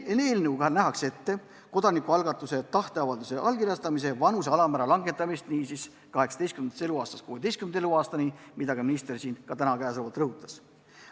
Eelnõuga nähakse ette kodanikualgatuse tahteavalduse allkirjastamise vanuse alammäära langetamine 18. eluaastast 16. eluaastani, nagu minister ka siin täna rõhutas.